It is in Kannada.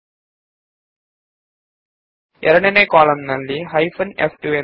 ಹೈಫೆನ್ ಫ್2 ಎರಡನೇ ಕಾಲಂ ಅನ್ನು ಸೂಚಿಸುತದೆ